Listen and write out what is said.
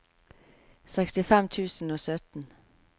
sekstifem tusen og sytten